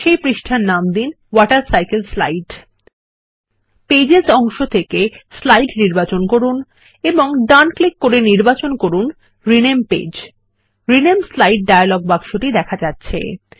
এই পৃষ্ঠার নাম দিন ওয়াটারসাইকেলসলাইড পেজেস অংশ থেকে স্লাইড নির্বাচন করুন এবং ডান ক্লিক করে নির্বাচন করুন rename page rename slide dialog বাক্সটি দেখা হচ্ছে